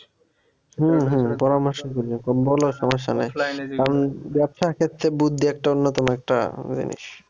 ব্যবসার ক্ষেত্রে বুদ্ধি একটা অন্যতম একটা জিনিস